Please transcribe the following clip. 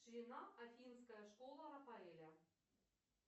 ширина афинская школа рафаэля